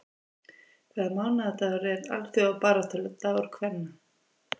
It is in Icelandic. Hvaða mánaðardagur er alþjóðabaráttudagur kvenna?